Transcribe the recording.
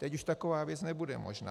Teď už taková věc nebude možná.